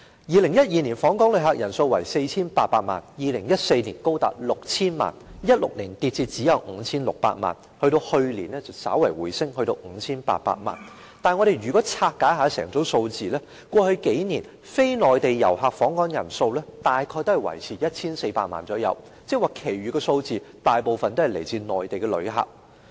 2012年的訪港旅客人數是 4,800 萬人次 ，2014 年高達 6,000 萬人次 ，2016 年下跌至只有 5,600 萬人次，去年稍為回升至 5,800 萬人次，但如果我們拆解整組數字，便會發現過去數年非內地遊客訪港人數大約維持在 1,400 萬人次，即是說其餘的數字大部分是來自內地的旅客。